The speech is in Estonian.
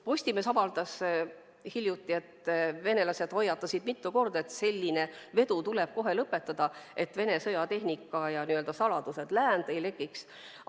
Postimees avaldas hiljuti, et venelased hoiatasid mitu korda, et selline vedu tuleb kohe lõpetada, et Vene sõjatehnika ja saladused läände ei lekiks.